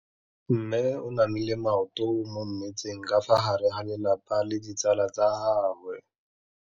Mme o namile maoto mo mmetseng ka fa gare ga lelapa le ditsala tsa gagwe.